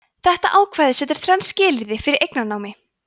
þetta ákvæði setur þrenn skilyrði fyrir eignarnámi